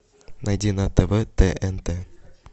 найди на тв тнт